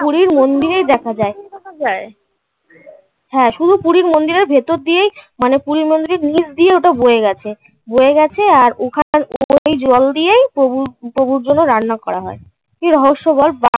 পুরি মন্দিরেই দেখা যায়. যায়? হ্যাঁ. শুধু পুরীর মন্দিরের ভেতর দিয়েই মানে পুরীর মন্দিরের নিচ দিয়ে ওটা বয়ে গেছে আর ওখানকার জল দিয়েই প্রভুর প্রভুর জন্য রান্না করা হয়. কি রহস্য বল বা